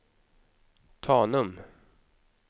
Tanum